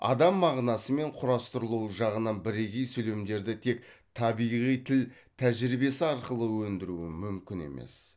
адам мағынасы мен құрастырылуы жағынан бірегей сөйлемдерді тек табиғи тіл тәжірибесі арқылы өндіруі мүмкін емес